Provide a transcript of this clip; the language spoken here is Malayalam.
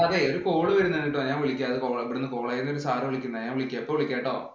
അതേ ഒരു call വരുന്നുണ്ട്. ഞാന്‍ വിളിക്കാം. College ഈന്ന് ഒരു sir വിളിക്കുന്നയാ. ഞാന്‍ വിളിക്കാം. ഇപ്പം വിളിക്കാട്ടോ.